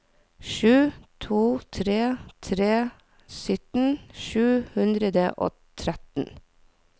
sju to tre tre sytten sju hundre og tretten